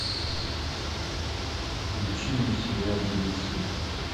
включи мне сериал беглецы